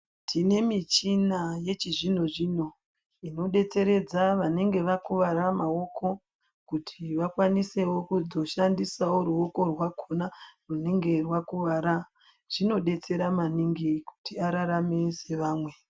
Tinemichina yechizvinozvino, inodetseredza vanenge vakuwara maoko kuti vakwanisewo ruoko runenge rwakuwara. Inodetsera maningi kuti ararame seamwe.